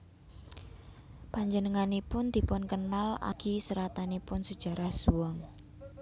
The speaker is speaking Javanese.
Panjenenganipun dipunkenal amargi seratanipun Sajarah Zhuang